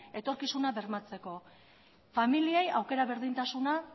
etorkizuna bermatzeko familiei aukera berdintasuna